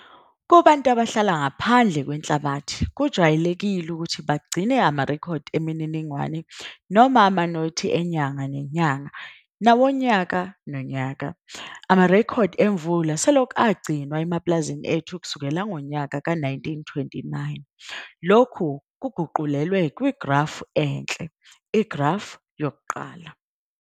Kubantu abahlala ngaphandle kwenhlabathi kujwayelekile ukuthi bagcine amarekhodi emininingwane noma amanothi enyanga nenyanga nawongonyaka nonyaka. Amarekhodi emvula selokhu agcinwa emapulazini ethu kusukela ngo-1929. Lokhu kuguqulelwe kwigrafu enhle, Igrafu 1.